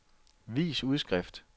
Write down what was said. vis udskrift